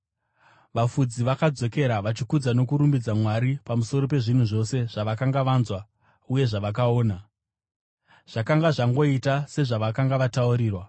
Vafudzi vakadzokera vachikudza nokurumbidza Mwari pamusoro pezvinhu zvose zvavakanga vanzwa uye zvavakaona, zvakanga zvakangoita sezvavakanga vataurirwa.